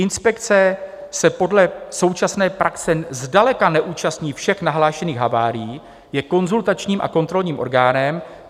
Inspekce se podle současné praxe zdaleka neúčastní všech nahlášených havárií, je konzultačním a kontrolním orgánem.